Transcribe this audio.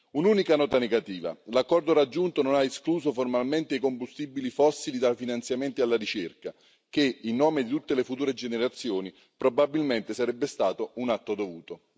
Un'unica nota negativa l'accordo raggiunto non ha escluso formalmente i combustibili fossili dai finanziamenti alla ricerca, il che, in nome di tutte le future generazioni, probabilmente sarebbe stato un atto dovuto.